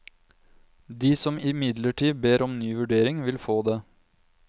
De som imidlertid ber om ny vurdering, vil få det.